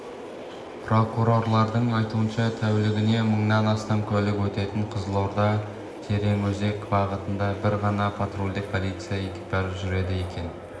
прокурорлардың айтуынша тәулігіне мыңнан астам көлік өтетін қызылорда-тереңөзек бағытында бір ғана патрульдік полиция экипажы жүреді екен